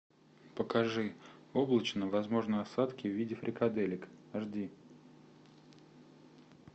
покажи облачно возможны осадки в виде фрикаделек ашди